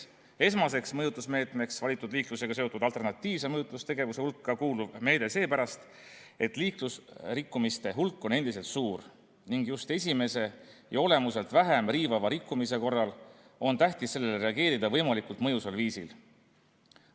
Esmaseks mõjutusmeetmeks liiklusega seotud alternatiivse mõjutustegevuse seas on see meede seepärast, et liiklusrikkumiste hulk on endiselt suur ning just esimese ja olemuselt vähem riivava rikkumise korral on tähtis sellele reageerida võimalikult mõjusal viisil.